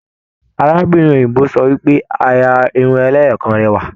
Arábìnrin òyìnbó sọ wípé àrà Irun ẹlẹ́yọọkan rẹ rẹwa.